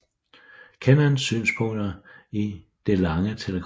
Kennans synspunkter i Det lange Telegram